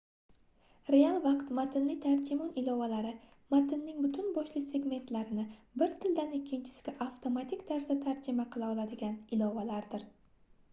real vaqt matnli tarjimon ilovalari matnning butun boshli segmentlarini bir tildan ikkinchisiga avtomatik tarzda tarjima qila oladigan ilovalardir